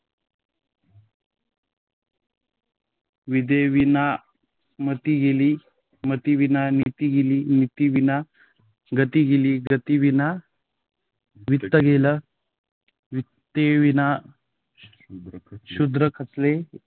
विद्येविन मती गेली मतीविना नीती गेली नीतीविना गती गेली गतीविना वित्त गेले वित्ताविन शूद्र खचले